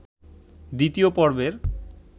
দ্বিতীয় পর্বের